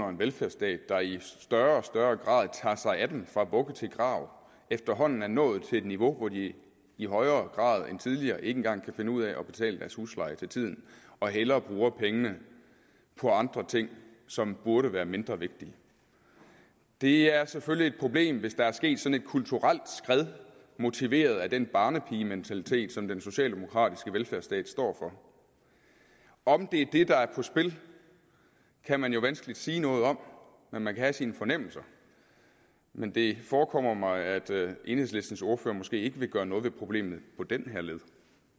en velfærdsstat der i større og større grad tager sig af dem fra vugge til grav efterhånden er nået til et niveau hvor de i højere grad end tidligere ikke engang kan finde ud af at betale deres husleje til tiden og hellere bruger pengene på andre ting som burde være mindre vigtige det er selvfølgelig et problem hvis der er sket sådan et kulturelt skred motiveret af den barnepigementalitet som den socialdemokratiske velfærdsstat står for om det er det der er på spil kan man vanskeligt sige noget om men man kan have sine fornemmelser men det forekommer mig at enhedslistens ordfører måske ikke vil gøre noget ved problemet på den her led